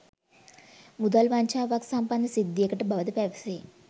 මුදල් වංචාවක් සම්බන්ධ සිද්ධියකට බවද පැවසේ.